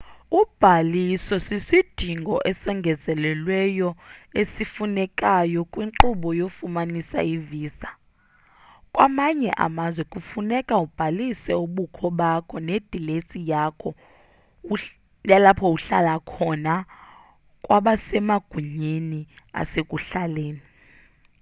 ubhaliso sisidingo esongezelelweyo esifunekayo kwinkqubo yokufumana ivisa kwamanye amazwe funeka ubhalise ubukho bakho nedilesi yalapho uhlala khona kwabasemagunyeni asekuhlaleni